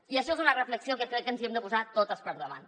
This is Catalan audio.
i això és una reflexió que crec que ens hem de posar totes per davant